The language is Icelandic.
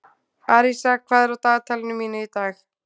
Arisa, hvað er á dagatalinu mínu í dag?